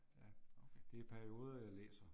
Ja. Det er i perioder, jeg læser